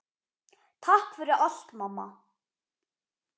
Takk fyrir allt, mamma.